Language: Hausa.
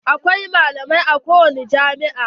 Akwai malamai a kowani jami'a.